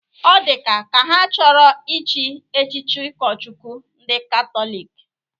Ọ dịka ka ha achọrọ ịchị echichi ụkọchukwu ndị Katọlik?